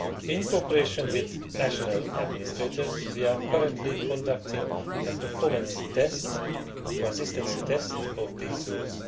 In cooperation with national administrators, we are currently conducting a performance test or consistency test on these rules.